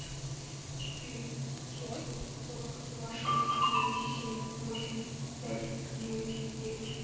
четыре шестьсот сорок два шесть девять семь восемь пять девять девять